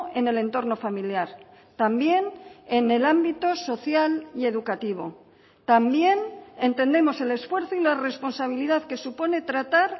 en el entorno familiar también en el ámbito social y educativo también entendemos el esfuerzo y la responsabilidad que supone tratar